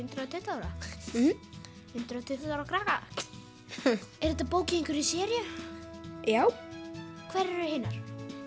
hundrað og tuttugu ára mhm hundrað og tuttugu ára krakka er þetta bók í einhverri seríu já hverjar eru hinar